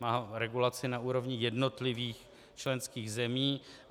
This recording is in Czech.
Má regulaci na úrovni jednotlivých členských zemí.